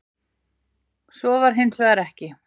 Svo væri hins vegar ekki